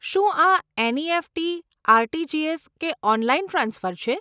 શું આ NEFT, RTGS કે ઓનલાઈન ટ્રાન્સફર છે?